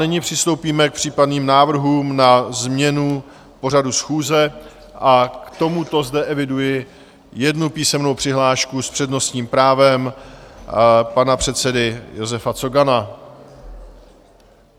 Nyní přistoupíme k případným návrhům na změnu pořadu schůze a k tomuto zde eviduji jednu písemnou přihlášku s přednostním právem pana předsedy Josefa Cogana.